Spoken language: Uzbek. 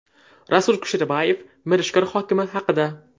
Rasul Kusherbayev Mirishkor hokimi haqida.